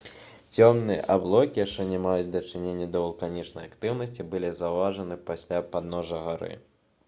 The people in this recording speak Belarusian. цёмныя аблокі што не маюць дачынення да вулканічнай актыўнасці былі заўважаны каля падножжа гары